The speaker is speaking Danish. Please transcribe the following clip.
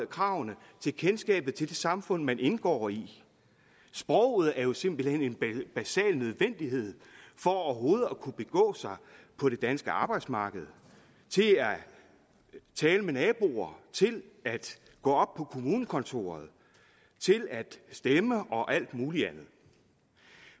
kravene til kendskabet til det samfund man indgår i sproget er jo simpelt hen en basal nødvendighed for overhovedet at kunne begå sig på det danske arbejdsmarked tale med naboer gå op på kommunekontoret stemme og alt muligt andet